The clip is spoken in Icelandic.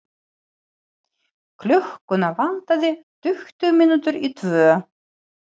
Klukkuna vantaði tuttugu mínútur í tvö.